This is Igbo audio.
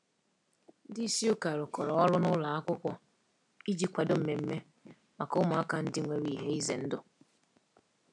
Ndị isi ụka rụkọrọ ọrụ na ụlọ akwụkwọ iji kwadoo mmemme maka ụmụaka ndị nwere ihe ize ndụ.